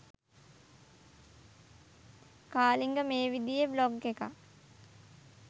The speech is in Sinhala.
කාලිංග මේ විදියේ බ්ලොග් එකක්